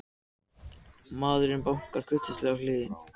Maðurinn bankar kurteislega í hliðið.